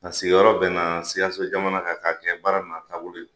A sigiyɔrɔ bɛna sikaso jamana kan k'a kɛ baara na taabolo ye